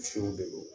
de do